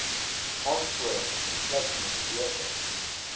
aansporings insluitende beurse